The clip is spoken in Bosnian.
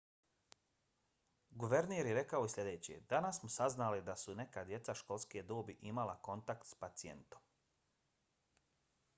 guverner je rekao i sljedeće: danas smo saznali da su neka djeca školske dobi imala kontakt s pacijentom.